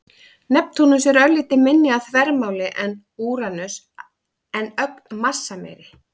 Neptúnus er örlítið minni að þvermáli en Úranus en ögn massameiri.